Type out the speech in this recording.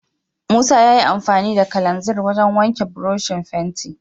Musa yayi amfani da kalanzir wajen wanke burushin fenti.